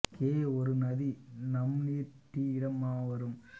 K ஒரு நதி நம் நீர் டி இடம் மா வரும்